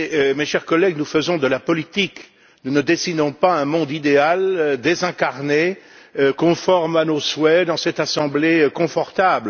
Mes chers collègues, nous faisons de la politique. Nous ne dessinons pas un monde idéal, désincarné et conforme à nos souhaits dans cette assemblée confortable.